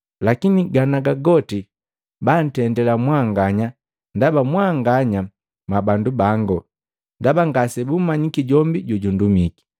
Lakini ganaga goti bantendila mwanganya ndaba mwanganya mwabandu bango, ndaba ngasebumanyiki jombi jojundumiki.